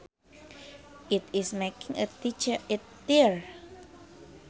It is making a tear